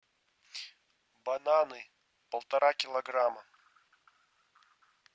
бананы полтора килограмма